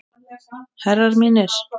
Herrar mínir.